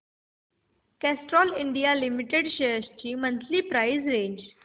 Castrol India limited shares ची monthly price range